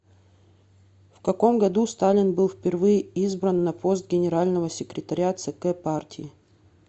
в каком году сталин был впервые избран на пост генерального секретаря цк партии